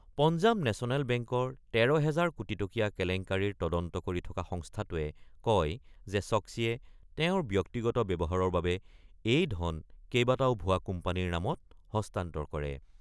Punjab national বেংকৰ ১৩ হাজাৰ কোটি টকীয়া কেলেংকাৰীৰ তদন্ত কৰি থকা সংস্থাটোৱে কয় যে ছক্মীয়ে তেওঁৰ ব্যক্তিগত ব্যৱহাৰৰ বাবে এই ধন কেইবাটাও ভুৱা কোম্পানীৰ নামত হস্তান্তৰ কৰে।